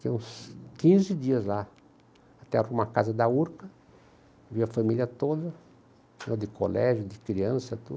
Fiquei uns quinze dias lá, até arrumar a casa da Urca, vi a família toda, de colégio, de criança, tudo.